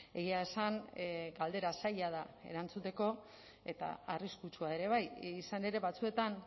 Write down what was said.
egia esan galdera zaila da erantzuteko eta arriskutsua ere bai izan ere batzuetan